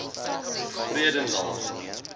vredendal